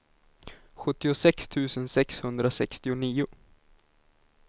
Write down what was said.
sjuttiosex tusen sexhundrasextionio